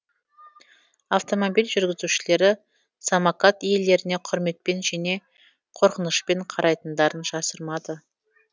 автомобиль жүргізушілері самокат иелеріне құрметпен және қорқынышпен қарайтындарын жасырмады